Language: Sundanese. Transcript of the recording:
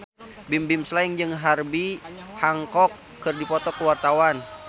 Bimbim Slank jeung Herbie Hancock keur dipoto ku wartawan